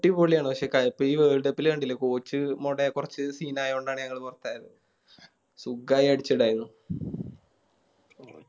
അടിപൊളിയാണ് പക്ഷെ കഴി ഈ Worldcup ല് കണ്ടില്ലേ Coach മൊട കൊർച്ച് Scene ആയകൊണ്ടാണ് ഞങ്ങള് പുറത്തായത് സുഖായി അടിച്ചിണ്ടായിരുന്നു